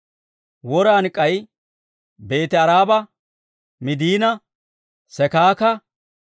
Woran k'ay Beeti-Aaraba, Middiina, Sekaaka,